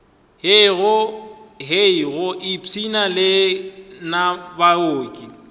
hei go ipshina lena baoki